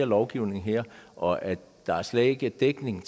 lovgivning her og at der slet ikke er dækning